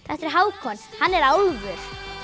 þetta er Hákon hann er álfur